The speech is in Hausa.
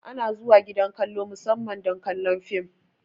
Ana zuwa gidan kallo musamman don kallon film